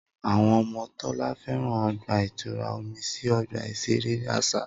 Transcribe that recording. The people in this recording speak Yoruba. Awọn ọmọ Tola fẹran ọgba-itura omi si ọgba iṣere aṣa.